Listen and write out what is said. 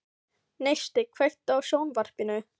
Gneisti, kveiktu á sjónvarpinu.